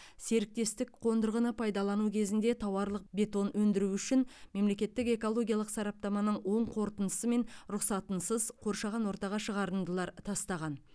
серіктестік қондырғыны пайдалану кезінде тауарлық бетон өндіру үшін мемлекеттік экологиялық сараптаманың оң қорытындысы мен рұқсатынсыз қоршаған ортаға шығарындылар тастаған